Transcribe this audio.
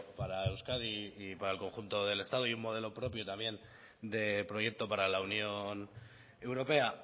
para euskadi y para el conjunto del estado y un modelo propio también de proyecto para la unión europea